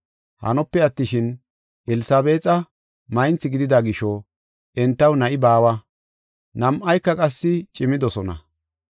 Hanope attishin, Elsabeexa maynthi gidida gisho entaw na7i baawa; nam7ayka qassi cimidosona.